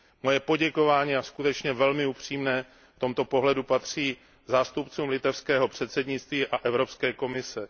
Moje poděkování a skutečně velmi upřímné v tomto ohledu patří zástupcům litevského předsednictví a Evropské komise.